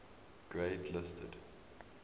grade listed